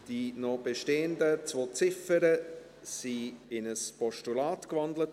Die noch bestehenden zwei Ziffern wurden in ein Postulat gewandelt.